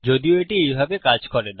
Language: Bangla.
যদিও এটি এইভাবে কাজ করে না